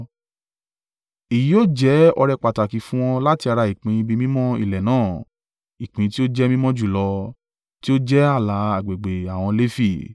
Èyí yóò jẹ́ ọrẹ pàtàkì fún wọn láti ara ìpín ibi mímọ́ ilẹ̀ náà, ìpín tí ó jẹ́ mímọ́ jùlọ, tí ó jẹ́ ààlà agbègbè àwọn Lefi.